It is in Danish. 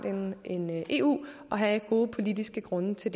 end eu og have gode politiske grunde til